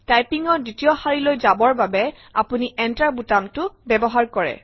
টাইপিঙৰ দ্বিতীয় শাৰীলৈ যাবৰ বাবে আপুনি Enter বুটামটো ব্যৱহাৰ কৰে